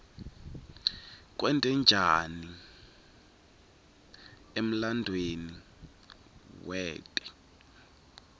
kwente kani emlanduuemi waklte